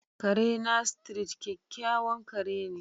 Kare na, Street, kyakkyawan ƙare ne.